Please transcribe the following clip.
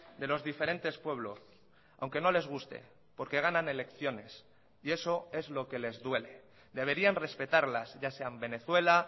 de los diferentes pueblos aunque no les guste porque ganan elecciones y eso es lo que les duele deberían respetarlas ya sean venezuela